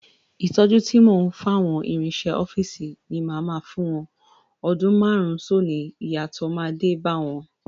Ìtọ́jú tí mò ń fáwọn ìrinṣẹ ọ́fíìsì ni màá máa fún wọn, ọdún márùn-ún sónìí, ìyàtọ̀ máa dé bá wọn.